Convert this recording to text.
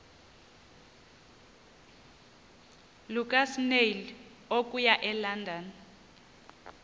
lukasnail okuya elondon